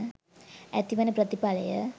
ඇතිවන ප්‍රතිඵලය